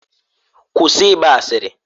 Kwụsị ịgba asịrị!